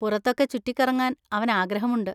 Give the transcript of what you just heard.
പുറത്തൊക്കെ ചുറ്റിക്കറങ്ങാൻ അവൻ ആഗ്രഹമുണ്ട്.